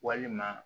Walima